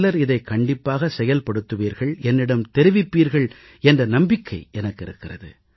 சிலர் இதைக் கண்டிப்பாக செயல்படுத்துவீர்கள் என்னிடம் தெரிவிப்பீர்கள் என்ற நம்பிக்கை எனக்கு இருக்கிறது